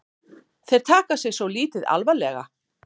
Þeir taka sig svo lítið alvarlega